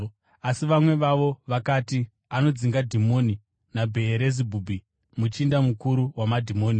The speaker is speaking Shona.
Asi vamwe vavo vakati, “Anodzinga dhimoni naBheerizebhubhi, muchinda mukuru wamadhimoni.”